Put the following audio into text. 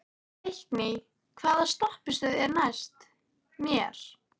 Leikný, hvaða stoppistöð er næst mér?